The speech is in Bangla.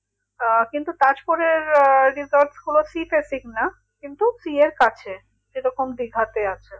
আহ কিন্তু তাজপুরের আহ resort গুলো sea facing না কিন্তু sea এর কাছে যেরকম দীঘাতে আছে